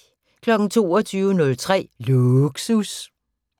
22:03: Lågsus